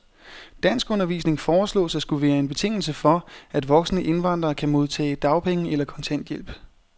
Danskundervisning foreslås at skulle være en betingelse for, at voksne indvandrere kan modtage dagpenge eller kontanthjælp.